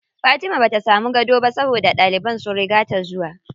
Fatima bata samu gado ba saboda ɗaliban sun riga ta zuwa.